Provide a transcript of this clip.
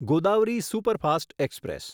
Godavari superfast express